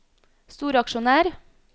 storaksjonær